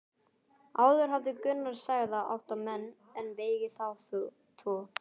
Áður hafði Gunnar særða átta menn en vegið þá tvo.